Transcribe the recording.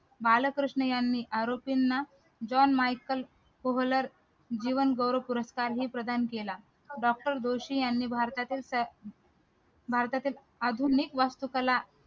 बालकृष्ण यांनी आरोपींना John Michael जीवन गौरव पुरस्कार ही प्रदान केला doctor जोशी यांनी भारतातील भारतातील आधुनिक वास्तू कला